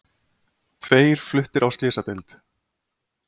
Tveir fluttir á slysadeild